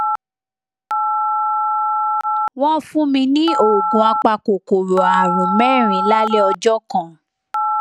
wọn fún mi ní oògùn apakòkòrò ààrùn mẹrin lálẹ ọjọ kan